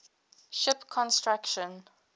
ship construction